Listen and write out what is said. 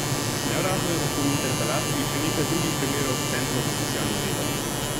Neuradno je lahko v interpelaciji še nekaj drugih primerov s centrov za socialno delo.